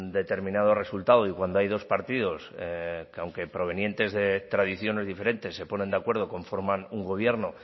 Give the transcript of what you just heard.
determinado resultado y cuando hay dos partidos que aunque provenientes de tradiciones diferentes se ponen de acuerdo conforman un gobierno